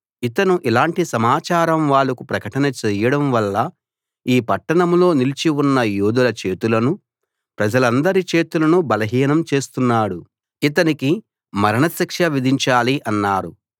ఇతను ఇలాంటి సమాచారం వాళ్లకు ప్రకటన చెయ్యడం వల్ల ఈ పట్టణంలో నిలిచి ఉన్న యోధుల చేతులను ప్రజలందరి చేతులను బలహీనం చేస్తున్నాడు ఇతనికి మరణశిక్ష విధించాలి అన్నారు